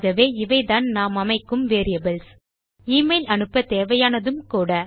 ஆகவே இவைதான் நாம் அமைக்கும் வேரியபிள்ஸ் எமெயில் அனுப்ப தேவையானதும் கூட